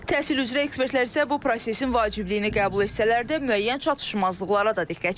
Təhsil üzrə ekspertlər isə bu prosesin vacibliyini qəbul etsələr də, müəyyən çatışmazlıqlara da diqqət çəkirlər.